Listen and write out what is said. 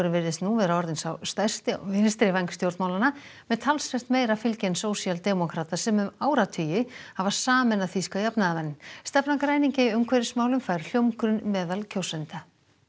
virðist nú vera orðinn sá stærsti á vinstri væng stjórnmálanna með talsvert meira fylgi en sósíaldemókratar sem um áratugi hafa sameinað þýska jafnaðarmenn stefna græningja í umhverfismálum fær hljómgrunn meðal kjósenda